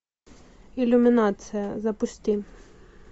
иллюминация запусти